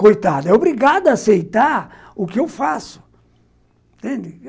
Coitada, é obrigado a aceitar o que eu faço, entende?